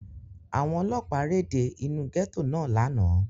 Àwọn Ọlọ́pàá réde inú gẹ́tò náà lánàá.